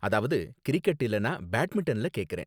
அதாவது கிரிக்கெட் இல்லனா பேட்மின்டன்ல கேக்கறேன்